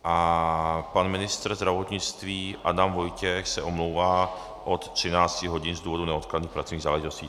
A pan ministr zdravotnictví Adam Vojtěch se omlouvá od 13 hodin z důvodu neodkladných pracovních záležitostí.